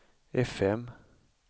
fm